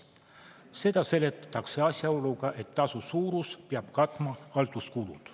Seda seletatakse asjaoluga, et tasu suurus peab katma halduskulud.